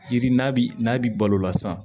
Yiri n'a bi n'a bi balo la san